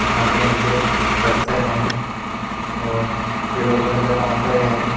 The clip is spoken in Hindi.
यहां पे नीचे पत्थर हैं और येलो कलर का काउंटर है।